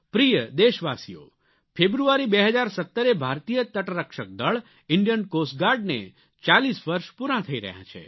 પ્રિય દેશવાસીઓ ફેબ્રુઆરી 2017 એ ભારતીય તટ રક્ષક દળ ઇન્ડિયન કોસ્ટ ગાર્ડ ને ચાલીસ વર્ષ પૂરાં થઇ રહ્યાં છે